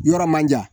Yɔrɔ man jan